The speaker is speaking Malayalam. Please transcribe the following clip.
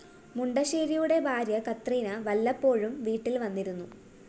മുണ്ടശ്ശേരിയുടെ ഭാര്യ കത്രീന വല്ലപ്പോഴും വീട്ടില്‍ വന്നിരുന്നു